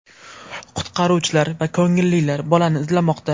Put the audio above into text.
Qutqaruvchilar va ko‘ngillilar bolani izlamoqda.